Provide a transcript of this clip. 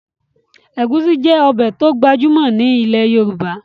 Ẹ̀gúsí jẹ́ ọbẹ̀ tó gbajúmọ̀ ní ilẹ̀ Yorùbá